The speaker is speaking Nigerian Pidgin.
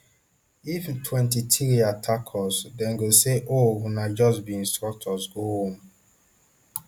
if mtwenty-three attack us dem no go say oh una just be instructors go house